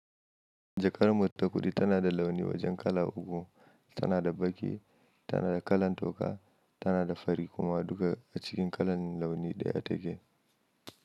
Jakar mu ta kudi tana da launi wajen kala uku. Tana da baƙi, tana da kalan toka, tana da fari kuma duka a cikin kalan launi daya take.